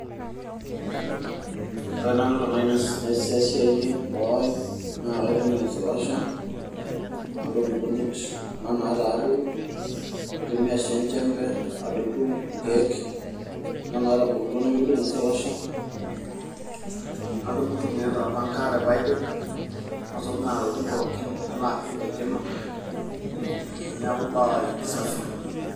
wore nanu nasieshayiee boo aii naa kaitumiaa eslasher nadung nkujit kuna nataa adoru, naitumiaa sii enjembe adotu nkeek kuna natubulutua nemedung eslasher nadungu sii kuliee tolpanka nalapeeej tenkima neaku boo aaii safi